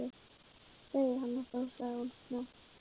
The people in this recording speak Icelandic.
Segðu hana þá sagði hún snöggt.